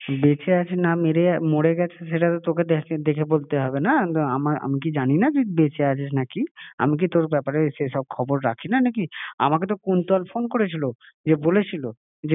বেঁচে আছে না ~মোর গেছে সেটা তো তোকে ~দেখে বলতে হবে না? তো আমার আমি ক জানি না তুই বেঁচে আছিস না কি? আমি কি তোর ব্যাপারে সে সব খবর রাখি না নাকি? আমাকে তো কুন্তল ফোন করেছিল দিয়ে বলে ছিলো